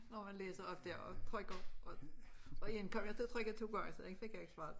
Når man læser op dér og trykker og én kom jeg ti at trykke 2 gang så den fik jeg ikke svaret